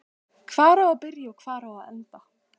Hvar á að byrja og hvar á að enda?